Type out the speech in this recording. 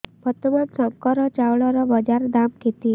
ବର୍ତ୍ତମାନ ଶଙ୍କର ଚାଉଳର ବଜାର ଦାମ୍ କେତେ